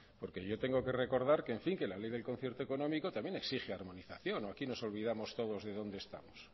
porque yo tengo que recordar que la ley del concierto económico también exige armonización o aquí nos olvidamos todos de dónde estamos